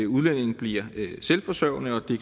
udlændinge bliver selvforsørgende og det